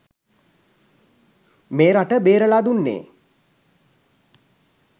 මේ රට බේරලා දුන්නේ.